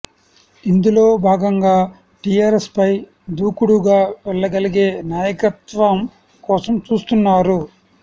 ఇందులో భాగంగా టిఆర్ఎస్ పై దూకుడుగా వెళ్లగలిగే నాయకత్వం కోసం చూస్తున్నారు